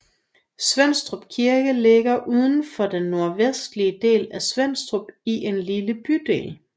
Svenstrup kirke lige udenfor den nordvestlige del af Svenstrup i en lille bydel